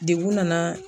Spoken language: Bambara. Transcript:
Degun nana